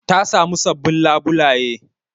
Ta samu sabbin labulaye